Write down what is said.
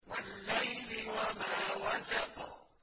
وَاللَّيْلِ وَمَا وَسَقَ